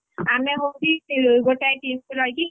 ଆମେ ହଉଛି ଗୋଟାଏ team ରେ ରହିକି,